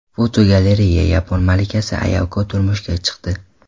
Fotogalereya: Yapon malikasi Ayako turmushga chiqdi.